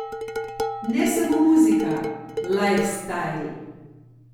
Ne samo muzika, lajfstajl.